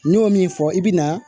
N y'o min fɔ i bɛ na